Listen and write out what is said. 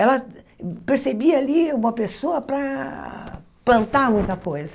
Ela percebia ali uma pessoa para plantar muita coisa.